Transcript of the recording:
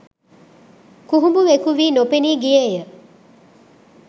කුහුඹුවෙකු වී නොපෙනී ගියේ ය.